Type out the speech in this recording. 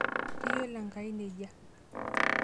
Keiyiolo Enkai nejia.